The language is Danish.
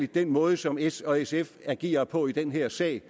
den måde som s og sf agerer på i den her sag